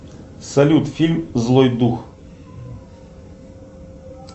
салют фильм злой дух